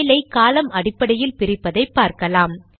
file ஐ காலம் அடிப்படையில் பிரிப்பதை பார்க்கலாம்